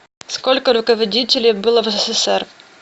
сколько руководителей было в ссср